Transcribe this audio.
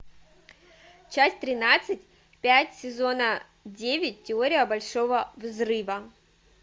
часть тринадцать пять сезона девять теория большого взрыва